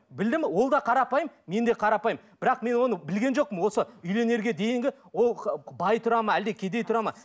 білдім ол да қарапайым мен де қарапайым бірақ мен оны білген жоқпын осы үйленерге дейінгі ол бай тұрады ма әлде кедей тұрады ма